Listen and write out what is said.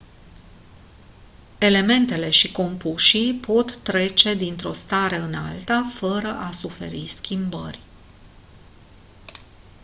elementele și compușii pot trece dintr-o stare în alta fără a suferi schimbări